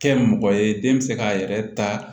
Kɛ mɔgɔ ye den bɛ se k'a yɛrɛ ta